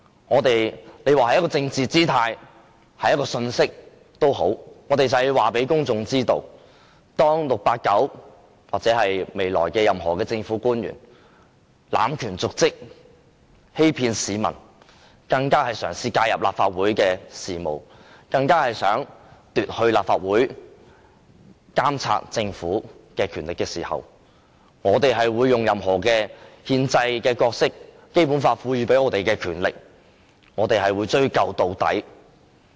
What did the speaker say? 你說這是一種表達政治姿態的信息也好，我們就是要告訴公眾，當 "689" 或未來任何政府官員濫權瀆職、欺騙市民，甚至嘗試介入立法會事務，企圖奪去立法會監察政府的權力時，我們會發揮憲制角色、用《基本法》賦予的權力，追究到底。